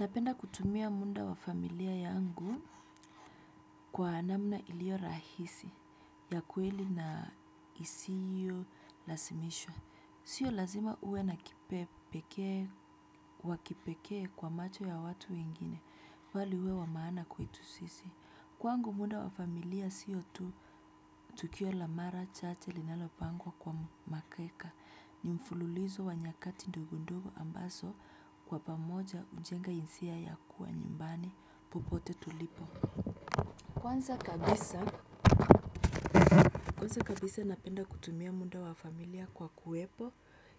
Napenda kutumia munda wafamilia yangu kwa anamna ilio rahisi ya kuweli na isiyo lasimishwa. Siyo lazima uwe nakipeke kwa macho ya watu ingine fali uwe wamaana kwetu sisi. Kwangu muda wafamilia siyo tu tukio lamara chache linalo pangwa kwa makeka. Ni mfululizo wa nyakati ndogondogo ambaso kwa pamoja ujenga insia ya kuwa nyumbani popote tulipo. Kwanza kabisa napenda kutumia munda wa familia kwa kuwepo